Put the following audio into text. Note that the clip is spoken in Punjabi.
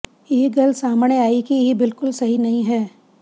ਇਹ ਗੱਲ ਸਾਹਮਣੇ ਆਈ ਕਿ ਇਹ ਬਿਲਕੁਲ ਸਹੀ ਨਹੀਂ ਹੈ